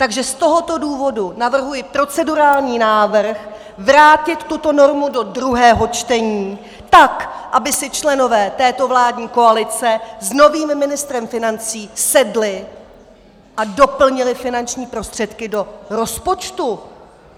Takže z tohoto důvodu navrhuji procedurální návrh vrátit tuto normu do druhého čtení, tak aby si členové této vládní koalice s novým ministrem financí sedli a doplnili finanční prostředky do rozpočtu.